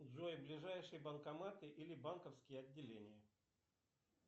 джой ближайшие банкоматы или банковские отделения